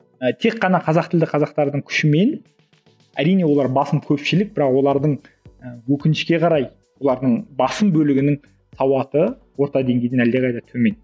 і тек қана қазақ тілді қазақтардың күшімен әрине олар басым көпшілік бірақ олардың ы өкінішке қарай олардың басым бөлігінің сауаты орта деңгейден әлдеқайда төмен